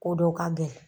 Ko dɔ ka gɛlɛn